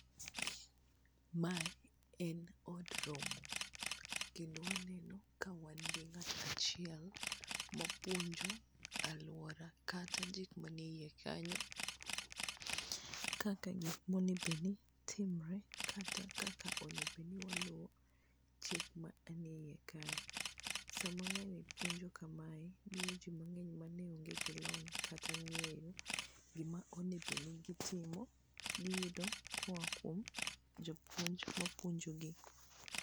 Ma en od romo kendo waneno ka wan gi ng'at achiel mapuonjo aluora kata gik mane iye kanyo kaka kik monego be ni timre kata kaka onego bed ni waluwo chak mane iye kae ,sama ng'ani puonjo kamae miyoji mang'eny mane ong'e gi lony kata ng'eyo gima onego bed ni gitimo giyugo koa kuom japuonj mapuonjo gi.